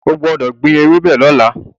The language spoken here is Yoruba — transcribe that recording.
O gbọ́dọ̀ gbin ewébẹ̀ lọ́la.